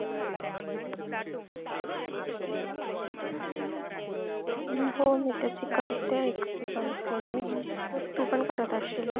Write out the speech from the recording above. हो मी तशी करते sun cream use तू पण करत असशील ना?